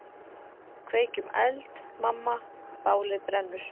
Kveikjum eld, mamma, bálið brennur.